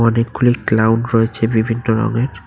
অনেকগুলি ক্লাউন রয়েছে বিভিন্ন রঙের।